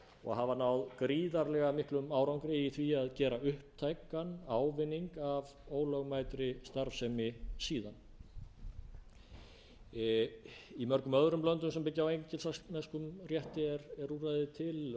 og hafa náð gríðarlega miklum árangri í því að gera upptækan ávinning af ólögmætri starfsemi síðan í mörgum öðrum löndum sem byggja á engilsaxneskum rétti er úrræði til